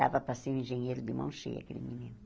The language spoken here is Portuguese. Dava para ser um engenheiro de mão cheia, aquele menino.